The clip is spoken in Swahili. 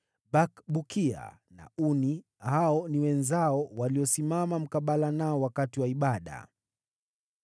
Bakbukia na Uni, wenzao, walisimama mkabala nao wakati wa ibada.